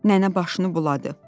Nənə başını buladı.